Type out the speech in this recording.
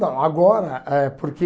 Não, agora, eh porque...